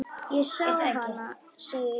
Ég sá hana, segi ég.